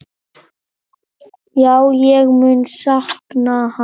Já, ég mun sakna hans.